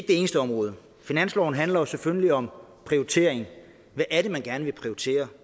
det eneste område finansloven handler selvfølgelig om prioritering hvad er det man gerne vil prioritere